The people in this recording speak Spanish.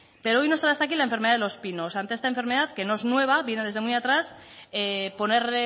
pero hoy nos trae aquí la enfermedad de los pinos ante esta enfermedad que no es nueva viene de muy atrás poner